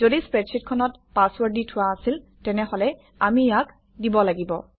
যদি স্প্ৰেডশ্বিটখনত পাছৱৰ্ড দি থোৱা আছিল তেনেহলে আমি ইয়াক দিব লাগিব